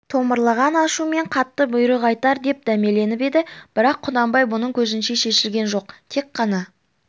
томырылған ашумен қатты бұйрық айтар деп дәмеленіп еді бірақ құнанбай мұның көзінше шешілген жоқ тек қана